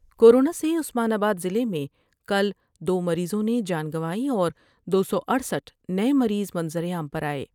کو رونا سے عثمان آ با دضلعے میں کل دو مریضوں نے جان گنوائی اور دو سو اٹھسٹھ نئے مریض منظر عام پر آئے ۔